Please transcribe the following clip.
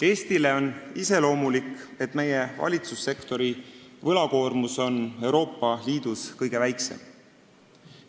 Eestile on iseloomulik, et meie valitsussektori võlakoormus on Euroopa Liidu kõige väiksem.